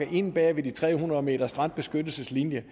er inde bag de tre hundrede meters strandbeskyttelseslinje